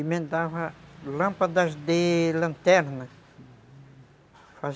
Emendava lâmpadas de lanterna.